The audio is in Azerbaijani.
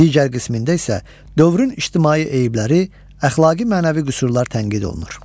Digər qismində isə dövrün ictimai eyibləri, əxlaqi-mənəvi qüsurlar tənqid olunur.